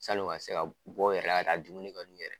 San'u ka se ka bɔ u yɛrɛ la ka taa dumuni kɛ n'u yɛrɛ ye.